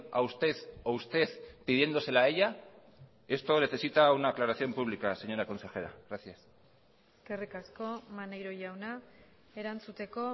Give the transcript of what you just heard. a usted o usted pidiéndosela a ella esto necesita una aclaración pública señora consejera gracias eskerrik asko maneiro jauna erantzuteko